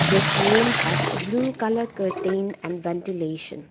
this room has blue colour curtain and ventilation.